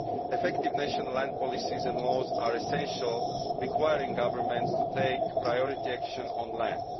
Effective national land policies and laws are essential, requiring governments to take priority action on land.